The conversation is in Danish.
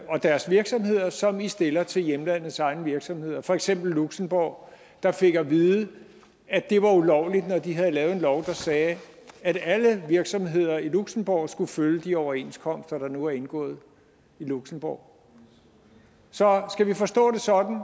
og deres virksomheder som i stiller til hjemlandets egne virksomheder for eksempel luxembourg der fik at vide at det var ulovligt når de havde lavet en lov der sagde at alle virksomheder i luxembourg skulle følge de overenskomster der nu er indgået i luxembourg så skal vi forstå det sådan